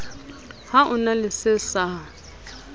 ho na le se sa